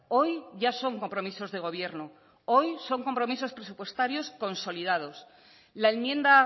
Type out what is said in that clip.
hoy ya son compromisos de gobierno hoy son compromisos presupuestarios consolidados la enmienda